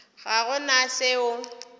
ga go na se o